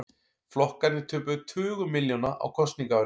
Flokkarnir töpuðu tugum milljóna á kosningaári